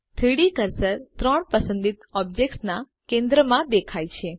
3ડી કર્સર ત્રણ પસંદિત ઑબ્જેક્ટ્સના કેન્દ્રમાં દેખાય છે